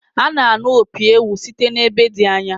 A na-anụ opi ewu site n’ebe dị anya